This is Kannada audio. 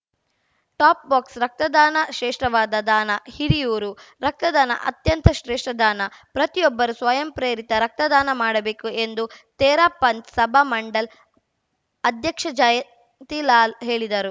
ಟಾಪ್‌ ಬಾಕ್ಸ ರಕ್ತದಾನ ಶ್ರೇಷ್ಠವಾದ ದಾನ ಹಿರಿಯೂರು ರಕ್ತ ದಾನ ಅತ್ಯಂತ ಶ್ರೇಷ್ಠ ದಾನ ಪ್ರತಿಯೂಬ್ಬರೂ ಸ್ವಯಂ ಪ್ರೇರಿತ ರಕ್ತದಾನ ಮಾಡಬೇಕು ಎಂದು ತೇರಾಪಂಥ್‌ ಸಭಾ ಮಂಡಲ್‌ ಅಧ್ಯಕ್ಷ ಜಯಂತಿಲಾಲ್‌ ಹೇಳಿದರು